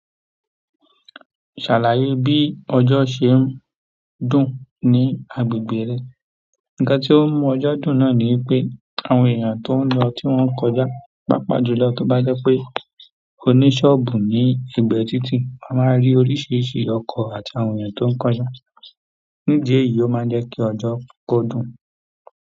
Ṣàlàyé bí ọjo ṣe ń dùn ní agbègbè rẹ. Ǹkan tí ó ń mú ọjọ́ dùn náà ni wipé àwọn èèyàn tó ń lọ tí wọ́n kọjá, pàápàá jùlọ kí ó bá jẹ́ pé o ní ṣọ́ọ̀bù ní ẹ̀gbe tiitii, a máa rí oríṣiríṣi ọkọ̀ àt'àwọn èèyàn tó ń kọjá, nídi eyìí ó máa ń jẹ́ kí ọjọ́ kó dùn.